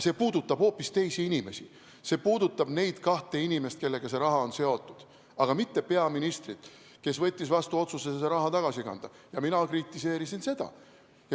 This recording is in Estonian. See puudutab hoopis teisi inimesi, see puudutab neid kahte inimest, kellega see raha on seotud, aga mitte peaministrit, kes võttis vastu otsuse see raha tagasi kanda, ja mina kritiseerisin seda.